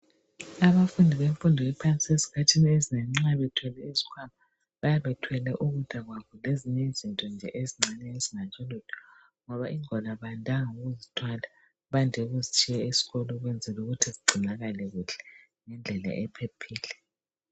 Abafundi bemfundo yaphansi ezikhathini ezinengi nxa bethwele izikhwama bayabe bethwele ukudla kwabo lezinye izinto nje ezincane ezingatsho lutho ngoba ingwalo abandanga ukuzithwala bade ukuzitshiya esikolo ukuzela ukuthi zingcinakale kuhle ngedlela ephephile.